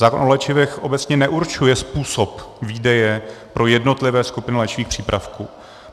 Zákon o léčivech obecně neurčuje způsob výdeje pro jednotlivé skupiny léčivých přípravků.